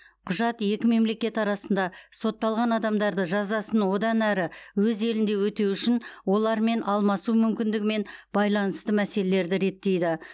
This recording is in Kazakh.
құжат екі мемлекет арасында сотталған адамдарды жазасын одан әрі өз ел елінде өтеу үшін олармен алмасу мүмкіндігімен байланысты мәселелерді реттейді